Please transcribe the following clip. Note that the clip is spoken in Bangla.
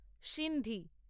সিন্ধি